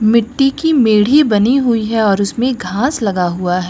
मिट्टी की मेढ़ी बनी हुई है और उसमें घास लगा हुआ है।